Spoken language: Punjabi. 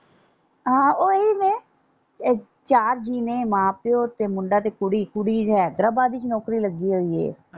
ਆਹੋ ਓਹੀ ਤੇ ਚਾਰ ਜੀਅ ਨੇ ਮਾਂ ਪਿਓ ਤੇ ਮੁੰਡਾ ਤੇ ਕੁੜੀ ਕੁੜੀ ਹੈਦਰਾਬਾਦ ਵਿੱਚ ਨੌਕਰੀ ਲੱਗੀ ਹੋਈ ਏ।